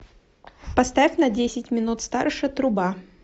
поставь на десять минут старше труба